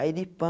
Aí ele pã.